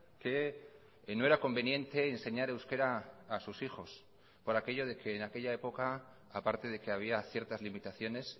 que no era conveniente enseñar euskera a sus hijos por aquello de que en aquella época aparte de que había ciertas limitaciones